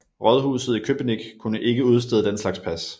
Rådhuset i Köpenick kunne ikke udstede den slags pas